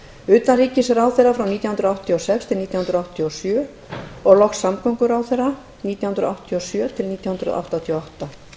utanríkisráðherra nítján hundruð áttatíu og sex til nítján hundruð áttatíu og sjö og loks samgönguráðherra nítján hundruð áttatíu og sjö til nítján hundruð áttatíu og átta